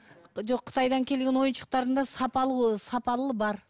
жоқ қытайдан келген ойыншықтардың да сапалы ол сапалылы бар